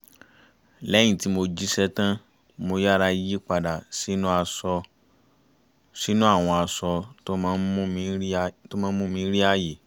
lẹ́yìn tí mo jíṣẹ́ tán mo yára yí padà sínú àwọn aṣọ tó má ń mú mi rí ààyè